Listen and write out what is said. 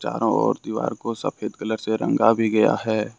और दीवार को सफेद कलर से रंग भी गया है।